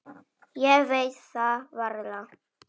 Ég veit það varla.